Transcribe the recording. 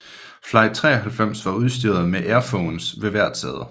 Flight 93 var udstyret med Airphones ved hvert sæde